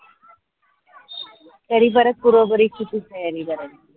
तरी परत पूर्व परीक्षेची तयारी करायेची.